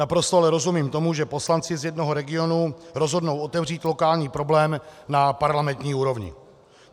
Naprosto ale rozumím tomu, že poslanci z jednoho regionu rozhodnou otevřít lokální problém na parlamentní úrovni.